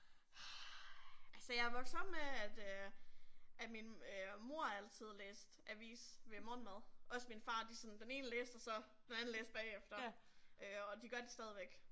Ej altså jeg er vokset op med at øh at min øh mor altid læste avis ved morgenmaden også min far, de sådan den ene læste og så den anden læste bagefter og øh de gør det stadigvæk